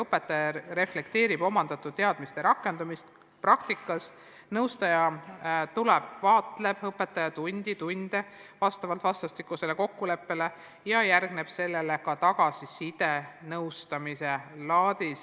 Õpetaja reflekteerib omandatud teadmiste rakendamist praktikas, nõustaja tuleb kohale ja jälgib õpetaja tunde vastavalt vastastikusele kokkuleppele ja sellele järgneb tagasiside nõuannete kujul.